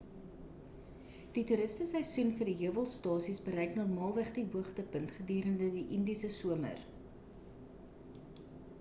die toeriste seisoen vir die heuwelstasies bereik normaalweg die hoogtepunt gedurende die indiese somer